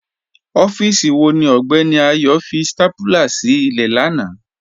Ọfíìsí wọ̀ ní Ọgbẹni Ayo fí stápúlà sí ilẹ̀ làna?